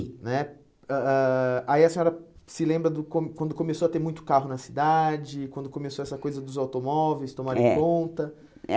né ãh ãh Aí a senhora se lembra do como quando começou a ter muito carro na cidade, quando começou essa coisa dos automóveis eh tomarem conta. É